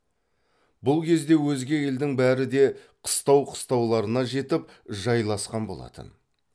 бұл кезде өзге елдің бәрі де қыстау қыстауларына жетіп жайласқан болатын